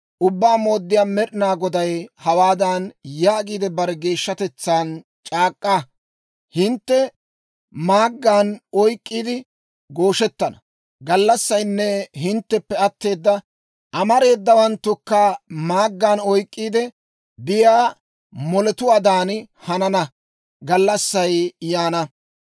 Ubbaa Mooddiyaa Med'inaa Goday hawaadan yaagiide, bare geeshshatetsaan c'ak'k'a; «Hintte maaggan oyk'k'iide gooshettana gallassaynne hintteppe atteeda amareedawanttukka maaggan oyk'k'iide biyaa moletuwaadan hanana gallassay yaana.